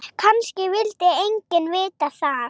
Kannski vildi enginn vita það.